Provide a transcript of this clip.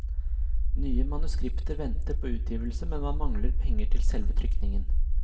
Nye manuskripter venter på utgivelse, men man mangler penger til selve trykkingen.